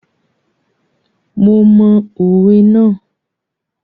Mo mọ òwe ná.